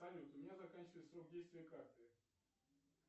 салют у меня заканчивается срок действия карты